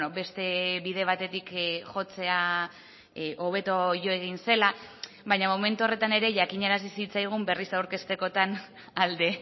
beste bide batetik jotzea hobeto jo egin zela baina momentu horretan ere jakinarazi zitzaigun berriz aurkeztekotan alde